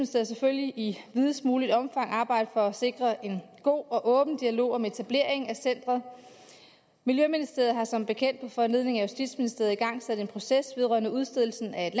selvfølgelig i videst muligt omfang arbejde for at sikre en god og åben dialog om etableringen af centeret miljøministeriet har som bekendt på foranledning af justitsministeriet igangsat en proces vedrørende udstedelsen af